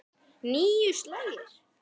Níu slagir.